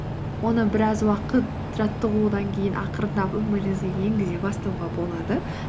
оны біраз уақыт жаттығудан кейін ақырындап өміріңізге енгізе бастауға болады